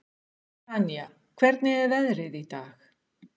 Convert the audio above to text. Tanya, hvernig er veðrið í dag?